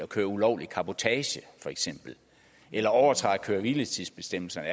køre ulovlig cabotage eller overtræde køre og hviletidsbestemmelserne